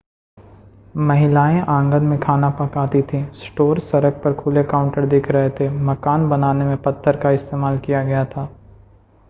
महिलाएं आंगन में खाना पकाती थीं स्टोर सड़क पर खुले काउंटर दिख रहे थे मकान बनाने में पत्थर का इस्तेमाल किया गया था